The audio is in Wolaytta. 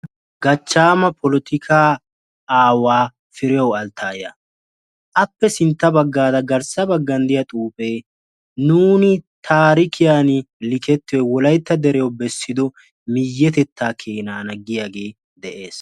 Gachchama polotikka aawaa Firiyaaw Alttaya; appe sintta baggara garssa baggan de'iyaa xuufe nuun taarikiyaan likketiyoy Wolaytta deriyaw bessido miyetetta keenana giyaage de'ees.